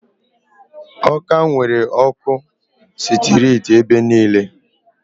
Awka nwere ọkụ sitirit ebe niile.